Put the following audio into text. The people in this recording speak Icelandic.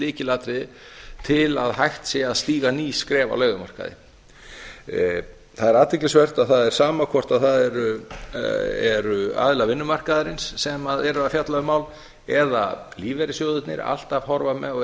lykilatriði til að hægt sé að stíga ný skref á leigumarkaði það er athyglisvert að það er sama hvort það eru aðilar vinnumarkaðarins sem eru að fjalla um mál eða lífeyrissjóðirnir